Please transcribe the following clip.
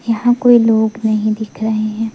यहां कोई लोग नहीं दिख रहे हैं।